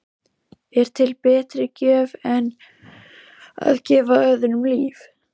Er til betri gjöf en að gefa öðrum líf?